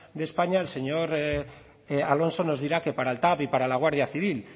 de españa el señor alonso nos dirá que para el tav y para la guardia civil